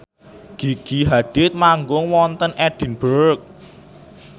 Gigi Hadid manggung wonten Edinburgh